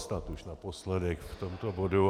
Snad už naposledy k tomuto bodu.